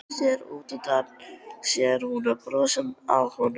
Sér útundan sér að hún er að brosa að honum.